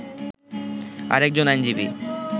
আরেকজন আইনজীবী